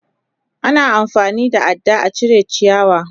Ana amfani da ada a cire ciyawa.